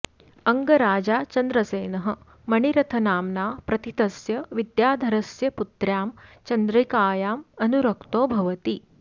अङ्गराजा चन्द्रसेनः मणिरथनाम्ना प्रथितस्य विद्याधरस्य पुत्र्यां चन्द्रिकायाम् अनुरक्तो भवति